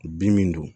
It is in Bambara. Bin min don